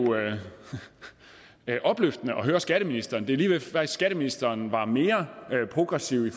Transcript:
er opløftende at høre skatteministeren det var lige ved at skatteministeren var mere progressiv ved